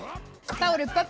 þá eru